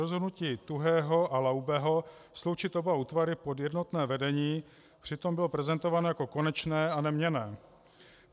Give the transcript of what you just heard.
Rozhodnutí Tuhého a Laubeho sloučit oba útvary pod jednotné vedení přitom bylo prezentováno jako konečné a neměnné.